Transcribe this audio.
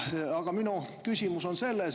Aga minu küsimus on see.